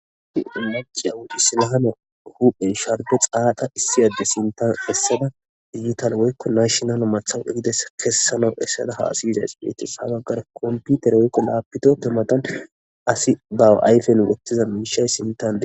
maca woy isilamiya ba hu7en sharbe xaaqa issi adde sintan essada digital woykko nashonala mathawu egides kessana essada haasi yizays beetes ha baggar komputer woykko laapito tumatan asi baw ayfen wottiza miishay sintan dee